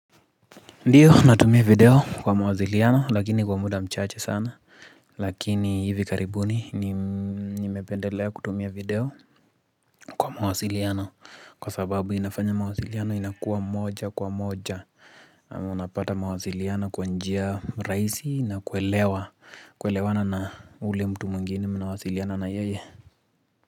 Ndio natumia video kwa mawasiliano lakini kwa muda mchache sana Lakini hivi karibuni nimependelea kutumia video kwa mawasiliano Kwa sababu inafanya mawasiliano inakuwa moja kwa moja Unapata mawasiliano kwa njia rahisi na kuelewa kuelewana na ule mtu mwingine mnawasiliana na yeye.